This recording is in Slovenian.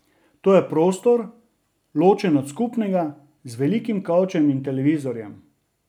To je prostor, ločen od skupnega, z velikim kavčem in televizorjem.